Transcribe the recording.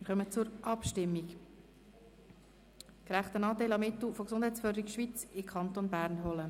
Wir kommen zur Abstimmung über die Motion «Gerechten Anteil an Mitteln von Gesundheitsförderung Schweiz in Kanton Bern holen».